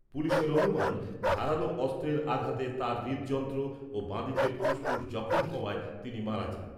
পুলিসের অনুমান ধারালো অস্ত্রের আঘাতে তাঁর হৃদযন্ত্র ও বাঁদিকের ফুসফুস জখম হওয়ায় তিনি মারা যান।